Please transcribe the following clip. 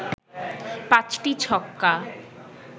৫টি ছক্কা